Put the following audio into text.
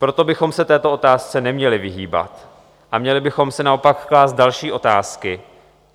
Proto bychom se této otázce neměli vyhýbat a měli bychom si naopak klást další otázky.